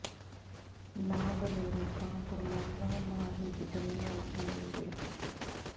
ਨਾ ਬਨੇਰੇ ਕਾਂ ਕੁਰਲਾਉਂਦਾ ਨਾ ਹੀ ਕਿਧਰੇ ਮੋਰ ਬੋਲਦੇ